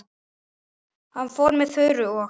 Hann fór með Þuru og